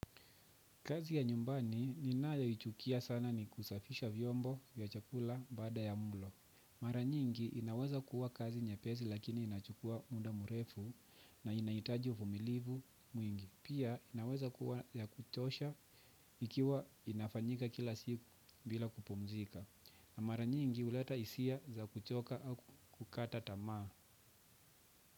Kazi ya nyumbani ninayo ichukia sana ni kusafisha vyombo ya chakula baada ya mulo. Mara nyingi inaweza kuwa kazi nyepesi lakini inachukua muda murefu na inahitaji uvumilivu mwingi. Pia inaweza kuwa ya kuchosha ikiwa inafanyika kila siku bila kupumzika. Na mara nyingi uleta hisia za kuchoka au kukata tamaa.